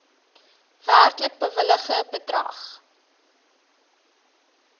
werklik bewilligde bedrag